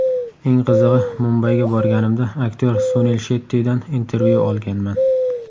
Eng qizig‘i, Mumbayga borganimda aktyor Sunil Shettidan intervyu olganman.